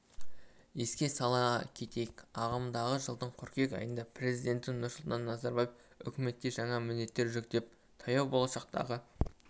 еске сала кетейік ағымдағы жылдың қыркүйек айында президенті нұрсұлтан назарбаев үкіметке жаңа міндеттер жүктеп таяу болашақтағы